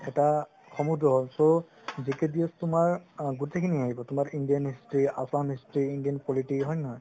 এটা সমুন্দ্ৰ হল so তুমাৰ গুতেই খিনি আহিব indian history, assam history, indian politics হয় নে নহয়